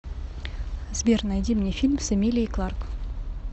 сбер найди мне фильм с эмилией кларк